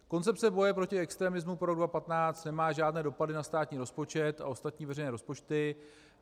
Koncepce boje pro extremismu pro rok 2015 nemá žádné dopady na státní rozpočet a ostatní veřejné rozpočty.